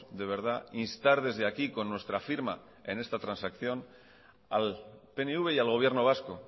de verdad instar desde aquí con nuestra firma en esta transacción al pnv y al gobierno vasco